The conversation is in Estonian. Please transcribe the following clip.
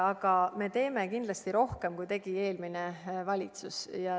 Aga me teeme kindlasti rohkem, kui tegi eelmine valitsus.